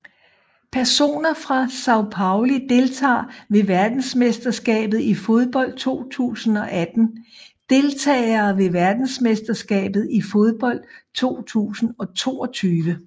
Personer fra São Paulo Deltagere ved verdensmesterskabet i fodbold 2018 Deltagere ved verdensmesterskabet i fodbold 2022